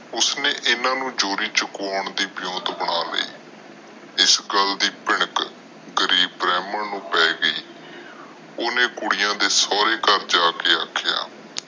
ਉਸ ਨੇ ਏਨਾ ਨੂੰ ਚੋਰੀ ਚੁੱਕਣ ਦੇ ਬਣਾ ਲਏ। ਇਸ ਗੱਲ ਦੀ ਭਿਣਕ ਗਰੀਬ ਬ੍ਰਾਹਮਣ ਨੂੰ ਪੈ ਗਈ। ਕੁੜੀਆਂ ਦੇ ਸੋਰੇ ਘਰ ਜਾਕੇ ਆਖਿਆ